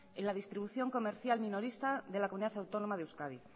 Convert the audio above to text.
en la distribución comercial minorista de la comunidad autónoma de euskadi